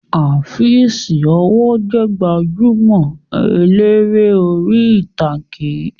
Afeez ọwọ́ jẹ gbajúmọ̀ eléré orí ìtàgé